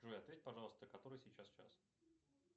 джой ответь пожалуйста который сейчас час